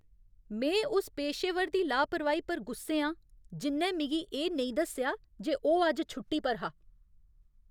में उस पेशेवर दी लापरवाही पर गुस्से आं जि'न्नै मिगी एह् नेईं दस्सेआ जे ओह् अज्ज छुट्टी पर हा।